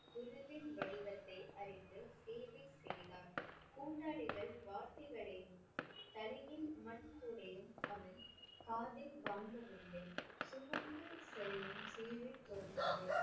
குருவின் வடிவத்தை அறிந்து சேவை செய்தார். கூட்டாளிகள் வார்த்தைகளையும் தலையில் மண் கூடையும் அவன் காதில் வாங்கவில்லை. சுமந்து செல்லும் சேவை தொடர்ந்தது.